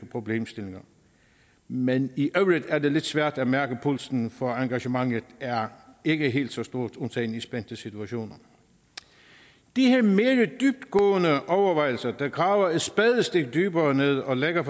problemstillinger men i øvrigt er det lidt svært at mærke pulsen for engagementet er ikke helt så stort undtagen i spændte situationer de her mere dybtgående overvejelser der graver et spadestik dybere ned og lægger